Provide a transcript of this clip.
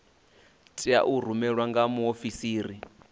tea u rumelwa nga muofisiri